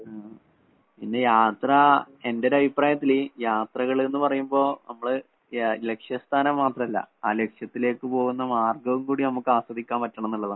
ഉം. പിന്നെ യാത്ര എന്റൊരഭിപ്രായത്തില് യാത്രകള്ന്ന് പറയുമ്പോ നമ്മള് യാ ലക്ഷ്യസ്ഥാനം മാത്രല്ല. ആ ലക്ഷ്യത്തിലേക്ക് പോകുന്ന മാർഗ്ഗവും കൂടി നമുക്കാസ്വദിക്കാൻ പറ്റണന്നുള്ളതാണ്.